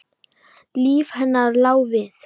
Líf hennar lá við.